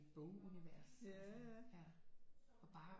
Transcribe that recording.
Bogunivers og bare